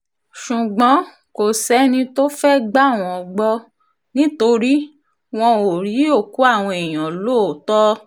ṣùgbọ́n kò sẹ́ni tó fẹ́ẹ́ gbà wọ́n gbọ́ nítorí wọn ò rí òkú àwọn èèyàn lóòótọ́